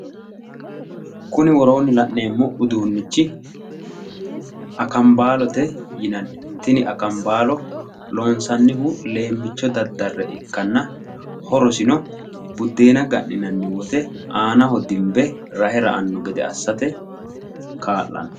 Kuni woroonni la'neemmo uduunnichi akambaalote yinanni. Tini akambaalo loonsannihu leemmicho daddare ikkanna horosino buddeena ga'nanni woyte aanaho dimbe rahe ra"anno gede assate kaa'lanno.